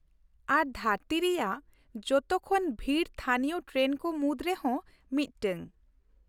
ᱟᱨ ᱫᱷᱟᱹᱨᱛᱤ ᱨᱮᱭᱟᱜ ᱡᱚᱛᱚ ᱠᱷᱚᱱ ᱵᱷᱤᱲ ᱛᱷᱟᱹᱱᱤᱭᱚ ᱴᱨᱮᱱ ᱠᱚ ᱢᱩᱫ ᱨᱮᱦᱚᱸ ᱢᱤᱫᱴᱟᱝ ᱾